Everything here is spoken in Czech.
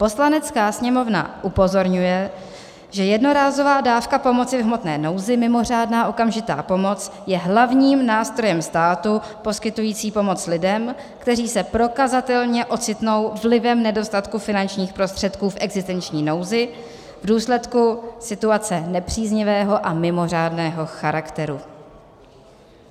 Poslanecká sněmovna upozorňuje, že jednorázová dávka pomoci v hmotné nouzi, mimořádná okamžitá pomoc, je hlavním nástrojem státu poskytujícím pomoc lidem, kteří se prokazatelně ocitnou vlivem nedostatku finančních prostředků v existenční nouzi v důsledku situace nepříznivého a mimořádného charakteru."